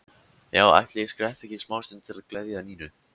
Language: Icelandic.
Já, ætli ég skreppi ekki smástund til að gleðja Nínu.